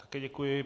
Také děkuji.